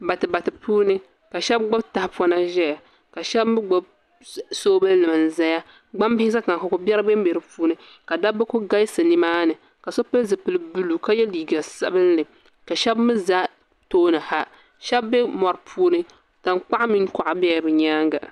Batubati puuni ka shab gbubi tahapona ʒɛya ka shab mii gbubi sooobuli nima n ʒɛya gbambili ʒɛ tiŋa ka ko biɛri bɛnbɛ di puuni ka dabba ku galisi nimaani ka so pili zipili buluu ka yɛ liiga sabinli ka shabmii ʒɛ tooni ha shab bu mori puuni tankpaɣu mini kuɣa biɛla bi nyaanga